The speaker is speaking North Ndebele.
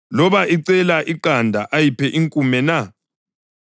Loba icela iqanda ayiphe inkume na?